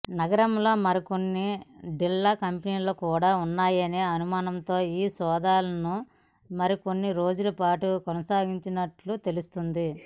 నగరంలో మరికొన్ని డొల్ల కంపెనీలు కూడా ఉన్నాయనే అనుమానంతో ఈ సోదాలను మరికొన్ని రోజుల పాటు కొనసాగించనున్నట్లు తెలిసింది